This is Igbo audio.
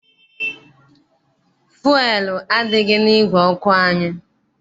Fuelu adịghị n'ìgwè ọkụ anyị.